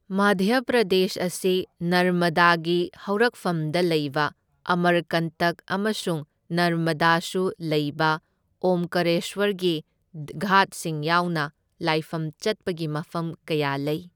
ꯃꯙ꯭ꯌ ꯄ꯭ꯔꯗꯦꯁ ꯑꯁꯤ ꯅꯔꯃꯗꯥꯒꯤ ꯍꯧꯔꯛꯐꯝꯗ ꯂꯩꯕ ꯑꯃꯔꯀꯟꯇꯛ ꯑꯃꯁꯨꯡ ꯅꯔꯃꯗꯥꯁꯨ ꯂꯩꯕ, ꯑꯣꯝꯀꯔꯦꯁ꯭ꯋꯔꯒꯤ ꯘꯥꯠꯁꯤꯡ ꯌꯥꯎꯅ ꯂꯥꯏꯐꯝ ꯆꯠꯄꯒꯤ ꯃꯐꯝ ꯀꯌꯥ ꯂꯩ꯫